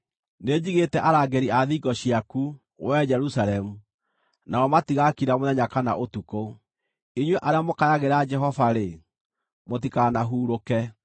Nĩnjigĩte arangĩri a thingo ciaku, wee Jerusalemu, nao matigakira mũthenya kana ũtukũ. Inyuĩ arĩa mũkayagĩra Jehova-rĩ, mũtikanahurũke,